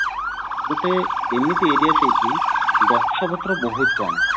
ଗୋଟେ ଏମିତି area ସେଠି ଗଛ ପତ୍ର ବହୁତ କମ